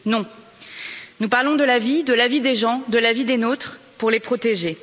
Non, nous parlons de la vie, de la vie des gens, de la vie des nôtres pour les protéger.